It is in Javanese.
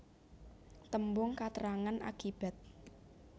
Tembung katrangan akibat